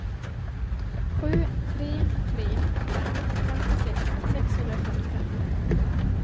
sju tre tre fem femtiosex sexhundrafemtiofem